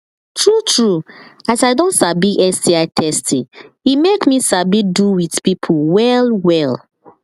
true true as i don sabi sti testing e make me sabi do with people well well